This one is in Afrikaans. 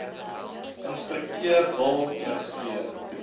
instrukteur wil registreer